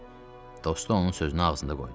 Dostu onun sözünü ağzına qoydu.